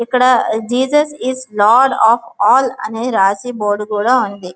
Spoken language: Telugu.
ఇక్కడ Jesus is not of all అనే రాసి బోర్డు కూడా ఉంది.